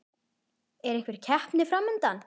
Er einhver keppni fram undan?